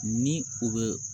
Ni u bɛ